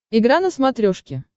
игра на смотрешке